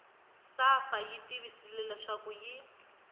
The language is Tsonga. safa yi tivisile leswaku yi